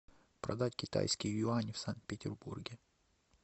продать китайские юани в санкт петербурге